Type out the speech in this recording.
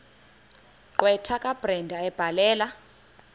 gqwetha kabrenda ebhalela